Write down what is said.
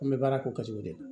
An bɛ baara k'o kɛ cogo de la